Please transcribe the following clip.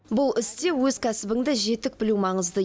бұл істе өз кәсібіңді жетік білу маңызды